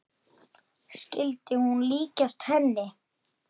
Skyldi hún líkjast henni?